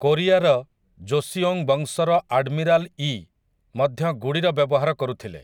କୋରିଆର ଯୋଶୀଓଂ ବଂଶର ଆଡ୍‌ମିରାଲ ୟୀ ମଧ୍ୟ ଗୁଡ଼ିର ବ୍ୟବହାର କରୁଥିଲେ ।